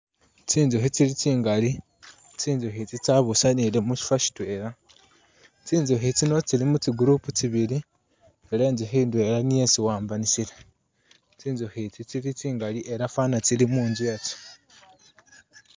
Tsinzukhi tsili tsingali, tsinzukhi itsi tsabusanile musifa sitwela, tsinzukhi tsino tsili mu tsi group tsibili ela inzukhi indwela niyo itsiwambanisile ,tsinzukhi itsi tsili tsingali ela fwana tsili munzu yatsyo